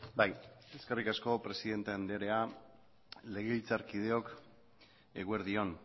bai eskerrik asko presidente andrea legebiltzarkideok eguerdi on